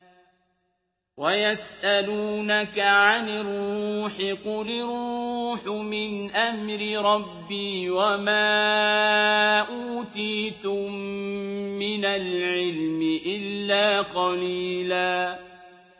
وَيَسْأَلُونَكَ عَنِ الرُّوحِ ۖ قُلِ الرُّوحُ مِنْ أَمْرِ رَبِّي وَمَا أُوتِيتُم مِّنَ الْعِلْمِ إِلَّا قَلِيلًا